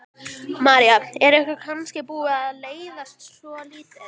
María: Er ykkur kannski búið að leiðast svolítið?